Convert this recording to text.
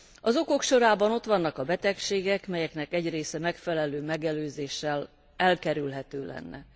Az okok sorában ott vannak a betegségek, melyeknek egy része megfelelő megelőzéssel elkerülhető lenne.